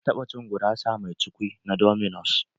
Ka taba cin gurasa mai cukwi na dominos?